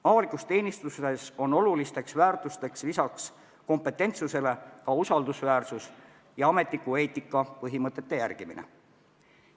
Avalikus teenistuses on lisaks kompetentsusele väga olulised väärtused ka usaldusväärsus ja ametniku eetika põhimõtete järgimine.